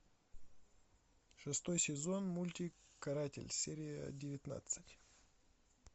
шестой сезон мультик каратель серия девятнадцать